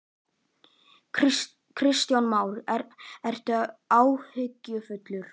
Kristján Már: Ertu áhyggjufullur?